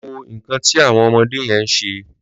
Lọ wó nkàn ti awọn ọmọdé yèn ṣé